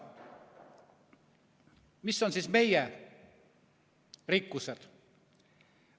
Mis on meie rikkused?